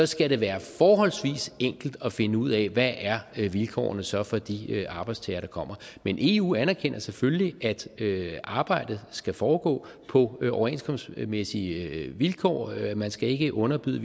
skal det være forholdsvis enkelt at finde ud af hvad vilkårene så er for de arbejdstagere der kommer men eu anerkender selvfølgelig at arbejdet skal foregå på overenskomstmæssige vilkår man skal ikke underbyde